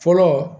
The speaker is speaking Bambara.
Fɔlɔ